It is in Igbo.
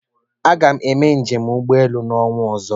Aga m eme njem ụgbọelu n'ọnwa ozo